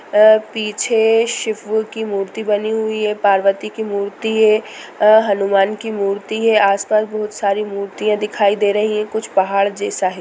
अ पीछे शिवू की मूर्ति बनी हुई है पार्वती की मूर्ति है अ हनुमान की मूर्ति है आस-पास बोहोत सारी मूर्तियां दिखाई दे रही हैं कुछ पहाड़ जैसा है।